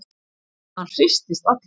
Hann hristist allur.